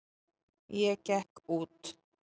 Ég gekk út.